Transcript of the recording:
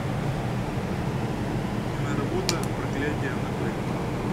киноработа проклятие анабель